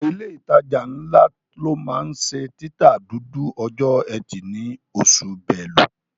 Ọ̀pọ̀ ilé ìtajà ńlá ló máa ń ṣe títa dúdú ọjọ́ ẹtì ní oṣù Belú